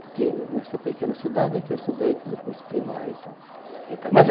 Porque nessa pequena cidade é que eu estudei, fiz o curso primário e tal. Então... Mas